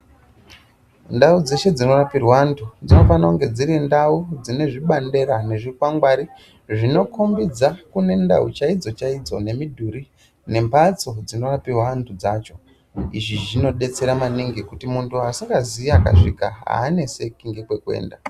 Ndau dzeshe dzorapirwa antu dzinofana kunge dziri ndau dzine bandiro nezvikwangwari zvinokombidza nendau dzakona nembatso dzinoakirwa dzacho izvi zvinodetsera maningi kuti asingazivi anyasvika aneseki nekwekuenda.